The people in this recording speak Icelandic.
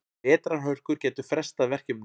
Vetrarhörkur gætu frestað verkefninu.